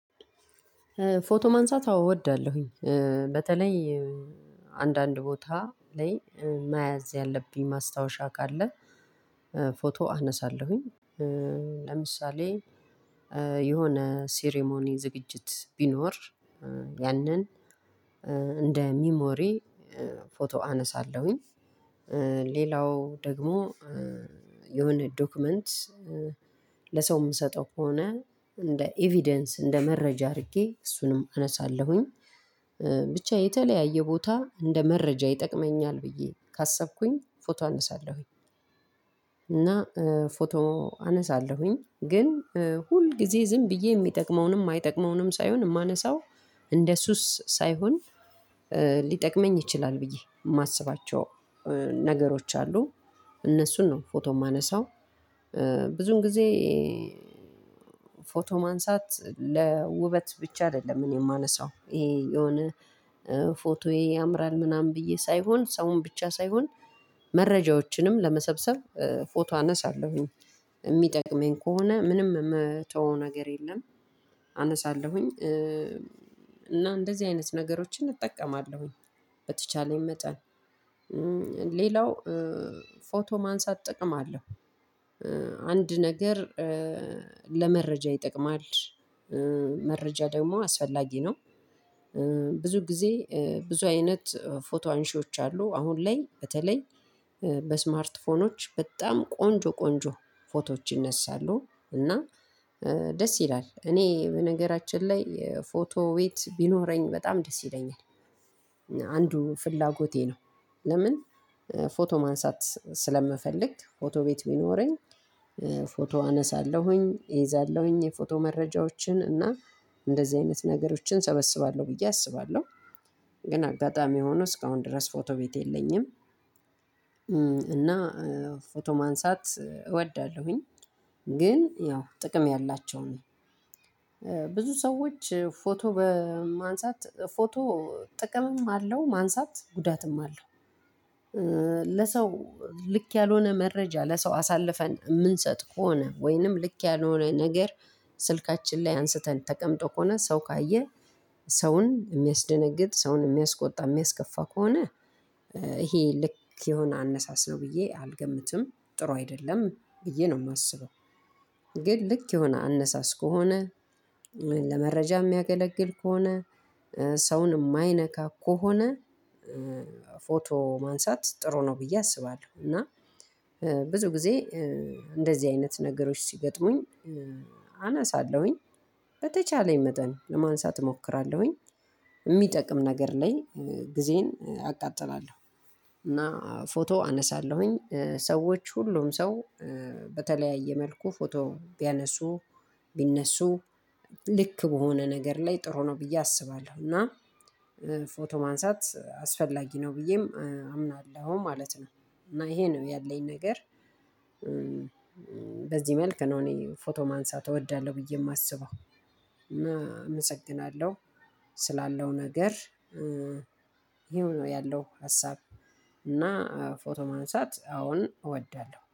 ፎቶ ማንሳት አዎ እወዳለሁኝ በተለይ አንዳንድ ቦታ ላይ መያዝ ያለብኝ ማስታወሻ ካለ ፎቶ አነሳለሁኝ። ለምሳሌ የሆነ ሴሪሞኒ ዝግጅት ቢኖር ያንን እንደ ሚሞሪ ፎቶ አነሳለሁኝ። ሌላው ደግሞ የሆነ ዶክመንት ለሰው የምሰጠው ከሆነ እንደ ኢቬደንስ እንደ መረጃ አድርጌ እሱንም አነሳለሁኝ። ብቻ የተለያየ ቦታ እንደ መረጃ ይጠቅመኛል ብዬ ካሰብኩኝ ፎቶ አነሳለሁኝ። እና ፎቶ አነሳለሁኝ ግን ሁልጊዜ ዝም ብዬ የሚጠቅመውንም የማይጠቅመውንም ሳይሆን የማነሳው እንደ ሱስ ሳይሆን ይችላል ብዬ የማስባቸው ነገሮች አሉ እነሱን ነው ፎቶ የማነሳው። ብዙን ጊዜ ፎቶ ማንሳት ለውበት ብቻ አይደለም እኔ የማነሳው ይሄ የሆነ ፎቶዬ ያምራል ምናምን ብዬ ሳይሆን ሰውን ብቻ ሳይሆን መረጃዎችንም ለመሰብሰብ ፎቶ አነሳለሁኝ የሚጠቅመኝ ከሆነ ምንም የምተወው ነገር የለም አነሳለሁኝ። እና እንደዚህ አይነት ነገሮችን እጠቀማለሁኝ። በተቻለኝ መጠን ሌላው ፎቶ ማንሳት ጥቅም አለው። አንድ ነገር ለመረጃ ይጠቅማል። መረጃ ደግሞ አስፈላጊ ነው። ብዙ ጊዜ ብዙ አይነት ፎቶ አንሺዎች አሉ አሁን ላይ በተለይ በስማርትፎኖች በጣም ቆንጆ ቆንጆ ፎቶዎች ይነሳሉ። እና ደስ ይላል እኔ በነገራችን ላይ የፎቶ ቤት ቢኖረኝ በጣም ደስ ይለኛል። ፍላጎቴ ነው። ለምን? ፎቶ ማንሳት ስለምፈልግ ፎቶ ቤት ቢኖረኝ ፎቶ አነሳለሁኝ እይዛለሁኝ የፎቶ መረጃዎችን እና እንደዚህ አይነት ነገሮችን ሰበስባለሁ ብዬ አስባለሁ። ግን አጋጣሚ ሆኖ እስካሁን ድረስ ፎቶ ቤት የለኝም። እና ፎቶ ማንሳት እወዳለሁኝ። ግን ያው ጥቅም ያላቸውን ነው። ብዙ ሰዎች ፎቶ በማንሳት ፎቶ ጥቅምም አለው ማንሳት ጉዳትም አለው። ለሰው ልክ ያልሆነ መረጃ ለሰው አሳልፈን የምንሰጥ ከሆነ ወይንም ልክ ያልሆነ ነገር ስልካችን ላይ አንስተን ተቀምጦ ከሆነ ሰው ካየ ሰውን የሚያስደነግጥ ሰውን የሚያስቆጣ የሚያስከፋ ከሆነ ይሄ ልክ የሆነ አነሳስ ነው ብዬ አልገምትም ጥሩ አይደለም ብዬ ነው የማስበው። ግን ልክ የሆነ አነሳስ ከሆነ ለመረጃ የሚያገለግል ከሆነ ሰውን የማይነካ ከሆነ ፎቶ ማንሳት ጥሩ ነው ብዬ አስባለሁ። እና ብዙ ጊዜ እንደዚህ አይነት ነገሮች ሲገጥሙኝ አነሳለሁኝ። በተቻለኝ መጠን ለማንሳት እሞክራለሁኝ። የሚጠቅም ነገር ላይ ጊዜዬን አቃጥላለሁ። እና ፎቶ አነሳለሁኝ ሰዎች ሁሉም ሰው በተለያየ መልኩ ፎቶ ቢያነሱ ቢነሱ ልክ በሆነ ነገር ላይ ጥሩ ነው ብዬ አስባለሁ። እና ፎቶ ማንሳት አስፈላጊ ነው ብዬም አምናለሁ ማለት ነው። እና ይሄ ነው ያለኝ ነገር። በዚህ መልኩ ነው እኔ ፎቶ ማንሳት እወዳለሁ ብዬ የማስበው። እመሰግናለሁ። ስላለው ነገር ይሄው ነው ያለው ሀሳብ። እና ፎቶ ማንሳት አዎን እወዳለሁ።